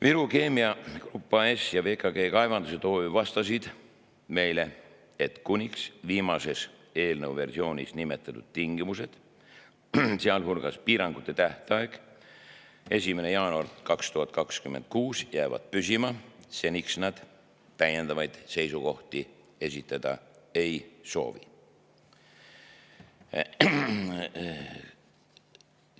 Viru Keemia Grupp AS ja VKG Kaevandused OÜ vastasid meile, et seni, kuni viimases eelnõu versioonis nimetatud tingimused, sealhulgas piirangute tähtaeg 1. jaanuar 2026, jäävad püsima, nad täiendavaid seisukohti esitada ei soovi.